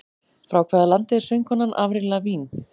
Frá hvaða landi er söngkonan Avril Lavigne?